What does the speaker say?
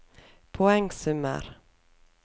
poengsummer